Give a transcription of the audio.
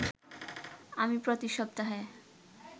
আমি প্রতি সপ্তাহে